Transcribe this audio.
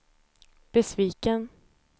besviken